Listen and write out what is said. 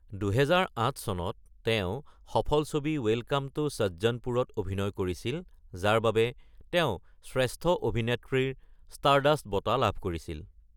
২০০৮ চনত তেওঁ, সফল ছবি ৱেলকাম টু সজ্জনপুৰত অভিনয় কৰিছিল যাৰ বাবে তেওঁ শ্ৰেষ্ঠ অভিনেত্ৰীৰ ষ্টাৰডাষ্ট বঁটা লাভ কৰিছিল।